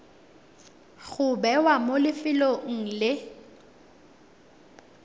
go bewa mo lefelong le